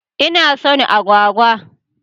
Ina son agwagwa.